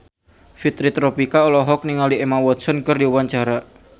Fitri Tropika olohok ningali Emma Watson keur diwawancara